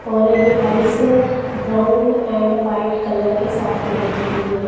और ये palace brown and white colour के साथ पेंट की गई है।